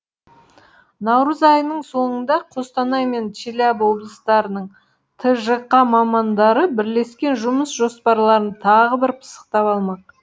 наурыз айының соңында қостанай мен челябі облыстарының тжқ мамандары бірлескен жұмыс жоспарларын тағы бір пысықтап алмақ